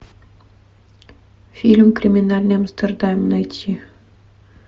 фильм криминальный амстердам найти